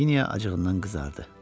Knyaginya acığından qızardı.